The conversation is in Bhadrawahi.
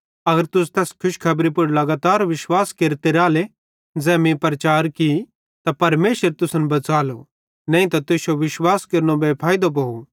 अगर तुस तैस खुशखेबरी पुड़ लगातार विश्वास केरते राले ज़ै मीं प्रचार की त परमेशर तुसन बच़ालो नईं त तुश्शो विश्वास केरनो बेफैइदो भोव